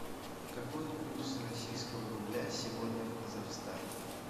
какой курс российского рубля сегодня в казахстане